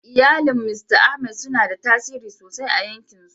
Iyalin Mista Ahmed suna da tasiri sosai a 'yankinsu.